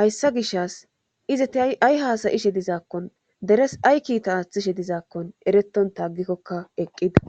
hayssa gishas izeti ay haasayishe dizaakkon deres ay kiita aaththishe dizaakkon ereton taagikkokka eqqida.